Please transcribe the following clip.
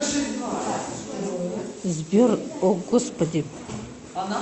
сбер о господи